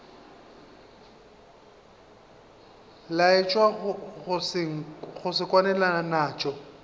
laetša go se kwane naso